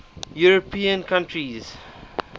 european countries